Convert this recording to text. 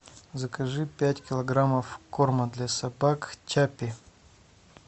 закажи пять килограммов корма для собак чаппи